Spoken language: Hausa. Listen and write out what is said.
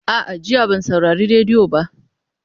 A'a, jiya ban saurari rediyo ba.